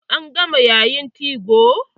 An gama yayin 2go.